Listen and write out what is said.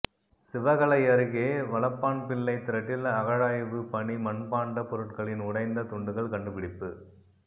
சிவகளை அருகே வலப்பான்பிள்ளை திரட்டில் அகழாய்வு பணி மண்பாண்ட பொருட்களின் உடைந்த துண்டுகள் கண்டுபிடிப்பு